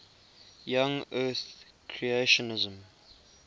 young earth creationism